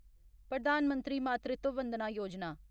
प्रधान मंत्री मातृत्व वंदना योजना